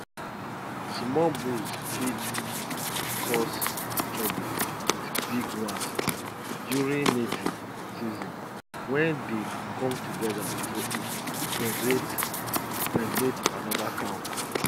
small bulls fit cause trouble with big ones during mating season when they come together to impregnate impregnate another cow